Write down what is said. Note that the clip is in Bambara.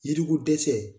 Yiri ko dɛsɛ